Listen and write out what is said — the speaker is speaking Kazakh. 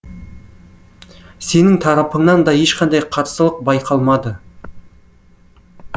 сенің тарапыңнан да ешқандай қарсылық байқалмады